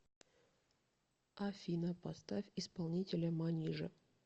афина поставь исполнителя манижа